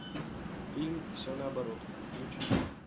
фильм все наоборот включи